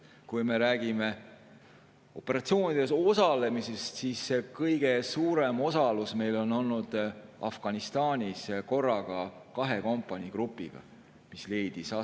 Kui me räägime operatsioonidel osalemisest, siis kõige suurem osalus on meil olnud Afganistanis ja korraga kahe kompanii grupiga.